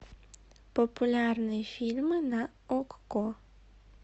популярные фильмы на окко